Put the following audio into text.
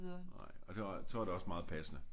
Nej og det så er det også meget passende